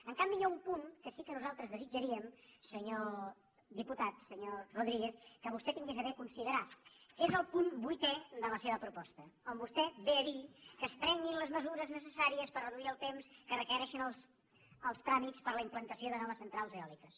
en canvi hi ha un punt en què sí que nosaltres desitjaríem senyor diputat senyor rodríguez que vostè tingués a bé considerar que és el punt vuitè de la seva proposta on vostè ve a dir que es prenguin les mesures necessàries per reduir el temps que requereixen els tràmits per a la implantació de noves centrals eòliques